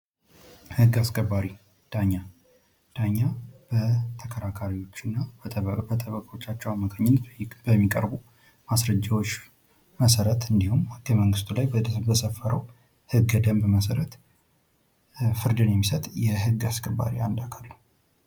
ህግ አስከባሪ ዳኛ ዳኛ በተከራካሪዎችና በጠበቆቻቸው አማካኝነት በሚቀርቡ ማስረጃዎች መሰረት እንዲሁም ህገ መንግስቱ ላይ በሰፈረው ህገ ደንብ መሠረት ፍርድን የሚሰጥ የህግ አስከባሪ አንድ አካል ነዉ::